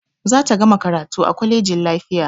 Za ta gama karatu a kwalejin lafiya